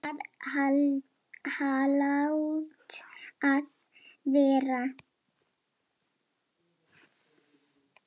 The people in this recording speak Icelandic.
Það hlaut að vera.